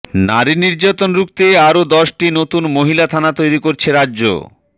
নারী নির্যাতন রুখতে আরও দশটি নতুন মহিলা থানা তৈরি করছে রাজ্য